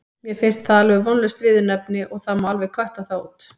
Mér finnst það alveg vonlaust viðurnefni og það má alveg kötta það út.